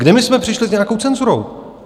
Kde my jsme přišli s nějakou cenzurou?